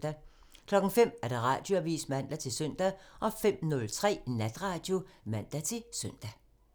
05:00: Radioavisen (man-søn) 05:03: Natradio (man-søn)